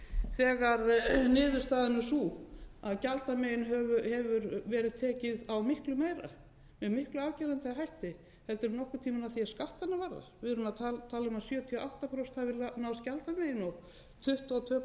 þegar niðurstaðan er sú að gjaldamegin hefur verið tekið á miklu meira með miklu afgerandi hætti heldur en nokkurn tímann að því er skattana varðar við þurfum að tala um að sjötíu og átta prósent hafi náðst gjaldamegin og tuttugu og tvö